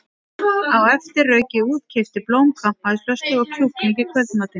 Á eftir rauk ég út, keypti blóm, kampavínsflösku og kjúkling í kvöldmatinn.